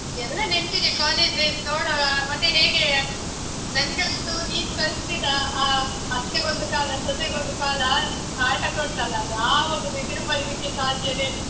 ಎಲ್ಲಾ ನೆನ್ಪಿದೆ college days ನೋಡೋಣ, ಮತ್ತೆ ಹೇಗೆ ಯಾ, ನಂಗಂತೂ ನೀನ್ ಕಲ್ಸಿದ ಆ, ಅತ್ತೆಗೊಂದು ಕಾಲ, ಸೊಸೆಗೊಂದು ಕಾಲ ನಾಟಕ ಉಂಟಲ್ಲ? ಯಾವಾಗ ಬೇಕಿದ್ರೂ ಮರೀಲಿಕ್ಕೆ ಸಾಧ್ಯವೇ ಇಲ್ಲ.